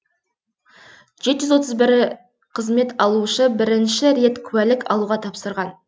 жеті жүз отыз бір қызмет алушы бірінші рет куәлік алуға тапсырған